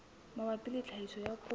mabapi le tlhahiso ya koro